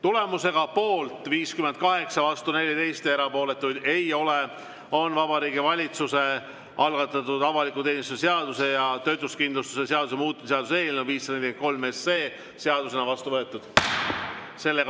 Tulemusega poolt 58, vastu 14, erapooletuid ei ole, on Vabariigi Valitsuse algatatud avaliku teenistuse seaduse ja töötuskindlustuse seaduse muutmise seaduse eelnõu 543 seadusena vastu võetud.